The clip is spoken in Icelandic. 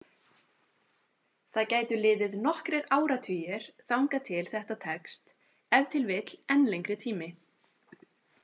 Það gætu liðið nokkrir áratugir þangað til þetta tekst, ef til vill enn lengri tími.